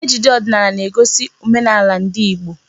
Ejije ọdịnala na-egosi omenala ndị Igbo.